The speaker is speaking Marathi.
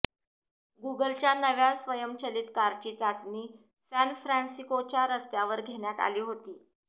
गूगलच्या नव्या स्वयंचलित कारची चाचणी सॅनफ्रॅन्सिकोच्या रस्त्यावर घेण्यात आली आहे